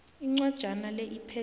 incwajana le iphethe